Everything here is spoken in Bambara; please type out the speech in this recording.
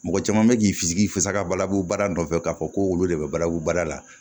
Mɔgɔ caman bɛ k'i fis'i fasa balabu bara nɔfɛ k'a fɔ ko olu de bɛ balabu baara la